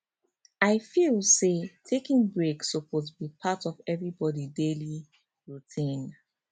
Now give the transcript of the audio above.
i feel say taking breaks suppose be part of everybody daily routine